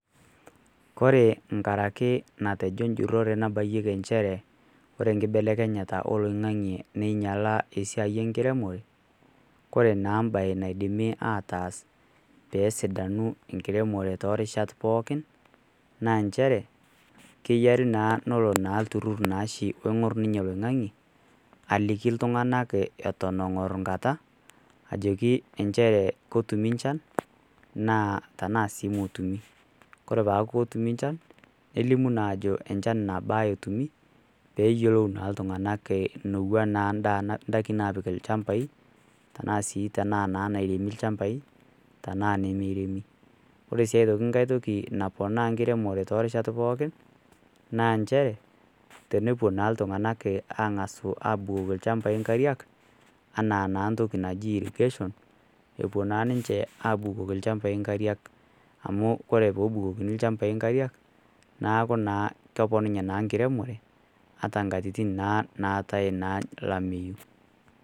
Kore enkata ake natejo enjurore nabaiyieki nchere, ore enkibelekenyata oloing'ang'e neinyala esiai enkiremore, Kore naa embae naidimi ataas pee esidanu enkiremore toorishat pookin naa nchere kenare naa neya olturur oingor oshi ninye oloing'ang'e aliki iltung'ana Eton engor enkata aliki nchere ketumi enchan naa tanaa sii metumi. Kore naake etumi, nelimu naake ajo enchan nabaa etumi pee eyiolou naa iltung'ana enetiu naa endaa indaikin naapiki ilchambai, tanaa sii esiai nairemi ilchambai tanaa nemeiremi. Ore aitoki enkai toki naponaa enkiremore too irishat pookin naa nchere, tenepuo naa iltung'ana atang'asu abukoki ilchambai inkariak, anaa naa entoki naji irrigation epuo naa ninche abukoki ilchambai inkariak amu Kore pee ebukokoni ilchambai inkariak neaku naa keponunye naa enkiremore ataa naa inkatitin naatai olameyu.